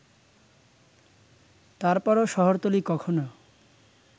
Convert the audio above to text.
তারপরও শহরতলী কখনো